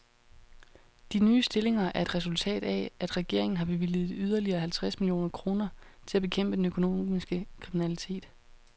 De nye stillinger er et resultat af, at regeringen har bevilget yderligere halvtreds millioner kroner til at bekæmpe den økonomiske kriminalitet.